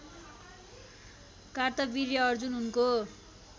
कार्तवीर्य अर्जुन उनको